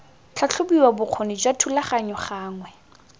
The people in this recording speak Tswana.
tlhatlhobiwa bokgoni jwa thulaganyo gangwe